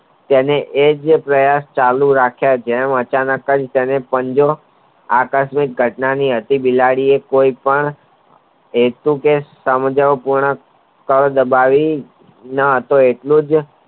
તેને એજ પ્રયાસો ચાલુ રાખ્યા જેમ અચાનક જ તેને પંજો આકસ્મિક ઘટનાની બિલાડી એ કોઈ પણ સમજણ ગુણાત કલ દબાવી ન હતો એટલેજ